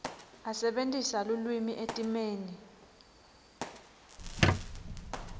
asebentisa lulwimi etimeni